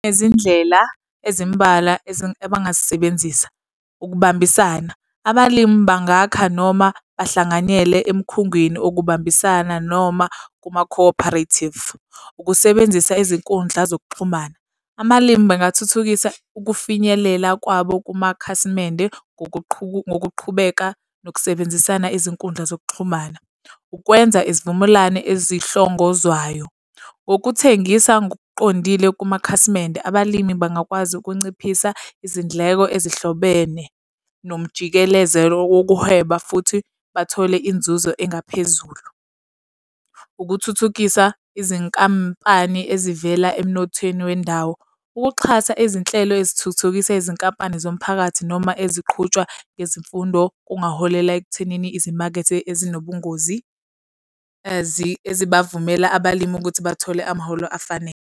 Izindlela ezimbalwa abangazisebenzisa ukubambisana, abalimi bangakha noma bahlanganyele emikhungwini okubambisana noma kuma-cooperative. Ukusebenzisa izinkundla zokuxhumana. Amalimi bangathuthukisa ukufinyelela kwabo kumakhasimende ngokuqhubeka nokusebenzisana izinkundla zokuxhumana. Ukwenza izivumelwano ezihlongozwayo. Ngokuthengisa ngokuqondile kumakhasimende. Abalimi bangakwazi ukunciphisa izindleko ezihlobene nomjikelezelo wokuhweba futhi bathole inzuzo engaphezulu. Ukuthuthukisa izinkampani ezivela emnothweni wendawo. Ukuxhasa izinhlelo ezithuthukisa izinkampani zomphakathi noma eziqhutshwa ngezimfundo kungaholela ekuthenini izimakethe ezinobungozi ezibavumela abalimi ukuthi bathole amaholo afanele.